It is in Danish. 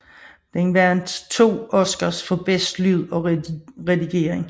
Den vandt 2 Oscars for bedste lyd og redigering